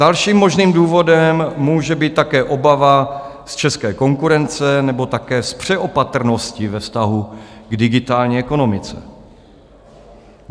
Dalším možným důvodem může být také obava z české konkurence nebo také z přeopatrnosti ve vztahu k digitální ekonomice.